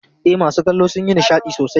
E, masu kallo sun yi nishadi sosai.